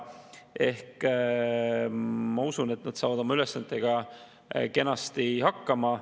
Ehk siis ma usun, et nad saavad oma ülesannetega kenasti hakkama.